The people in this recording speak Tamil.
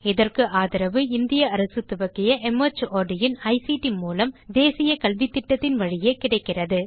இதற்கு ஆதரவு இந்திய அரசு துவக்கிய மார்ட் இன் ஐசிடி மூலம் தேசிய கல்வித்திட்டத்தின் வழியே கிடைக்கிறது